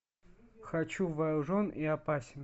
хочу вооружен и опасен